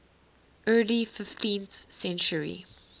early fifteenth century